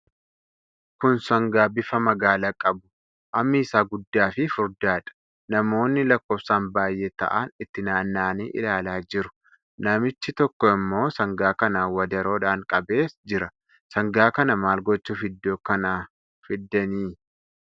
Kun sangaa bifa magaala qabu, hammi isaa guddaa fi furdaadha. Namoonni lakkoofsaan baay'ee ta'an itti naanna'anii ilaalaa jiru. Namichi tokko ammoo sangaa kana wadaroodhaan qabee jira. Sangaa kana maal gochuuf iddoo kana fidani?